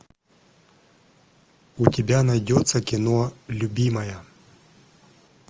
у тебя найдется кино любимая